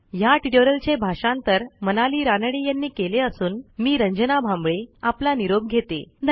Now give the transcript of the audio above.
ह्या ट्युटोरियलचे भाषांतर मनाली रानडे यांनी केले असून मी रंजना भांबळे आपला निरोप घेते160